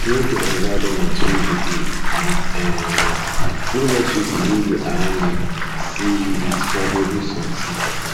know di environment wey you dey and um no let um pipo wey dey around see you with valuable something um